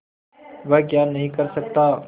वह क्या नहीं कर सकता